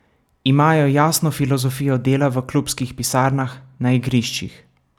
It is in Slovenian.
Imajo jasno filozofijo dela v klubskih pisarnah, na igriščih.